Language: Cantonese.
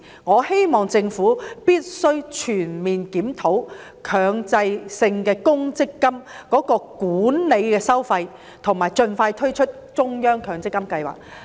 我希望政府全面檢討強積金的管理收費，以及盡快推出中央強積金計劃。